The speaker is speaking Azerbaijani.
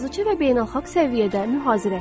Yazıçı və beynəlxalq səviyyədə mühazirəçi.